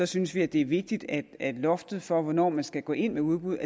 synes vi det er vigtigt at at loftet for hvornår man skal gå ind med udbud